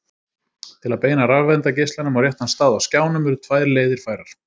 Til að beina rafeindageislanum á réttan stað á skjánum eru tvær leiðir færar.